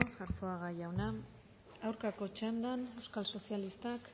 arzuaga jauna aurkako txandan euskal sozialistak